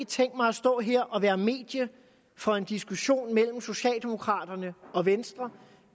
tænkt mig og stå her og være medie for en diskussion mellem socialdemokratiet og venstre